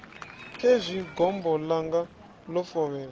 khezwi gombo ḽanga ḽo fovhela